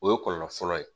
O ye kɔlɔlɔ fɔlɔ ye